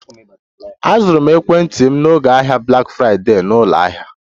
Azụrụ m ekwentị m n'oge ahịa Black Friday na ụlọ ahịa